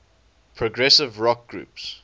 progressive rock groups